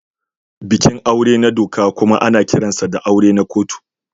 Bikin aure na doka kuma ana kiransa da auren kotu.